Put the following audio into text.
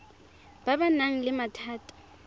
ba ba nang le mathata